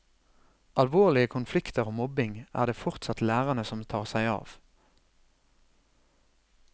Alvorlige konflikter og mobbing er det fortsatt lærerne som tar seg av.